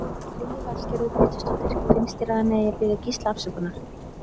Lillý Valgerður Pétursdóttir: Finnst þér að hann eigi að biðja Gísla afsökunar?